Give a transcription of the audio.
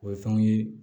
O ye fɛnw ye